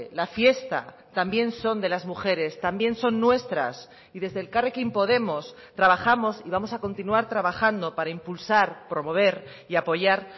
la fiesta también son de las mujeres también son nuestras y desde elkarrekin podemos trabajamos y vamos a continuar trabajando para impulsar promover y apoyar